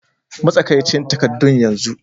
Matsakaicin takaddun yanzu!